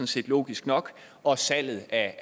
set logisk nok og salget af